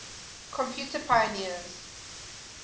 computer pioneers